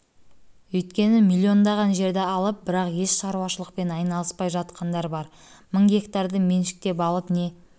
өйткені миллиондаған жерді алып бірақ еш шаруашылықпен айналыспай жатқандар бар мың гектарды меншіктеп алып не